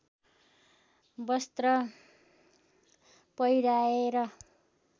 वस्त्र पहिर्‍याएर